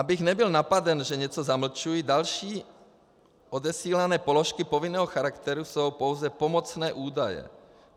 Abych nebyl napaden, že něco zamlčuji, další odesílané položky povinného charakteru jsou pouze pomocné údaje.